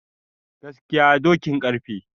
Gaskiya dokin karfe